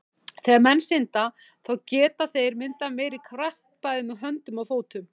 Þegar menn synda, þá geta þeir myndað meiri kraft með bæði höndum og fótum.